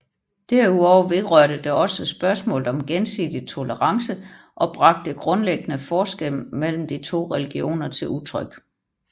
Derudover vedrørte det også spørgsmålet om gensidig tolerance og bragte grundlæggende forskelle mellem de to religioner til udtryk